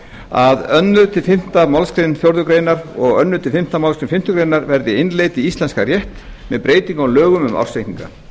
að öðru til fimmtu málsgrein fjórðu greinar og öðrum til fimmtu málsgrein fimmtu grein verði innleidd í íslenskan rétt með breytingum á lögum um ársreikninga